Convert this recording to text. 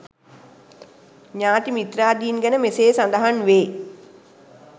ඥාති මිත්‍රාදීන් ගැන මෙසේ සඳහන් වේ.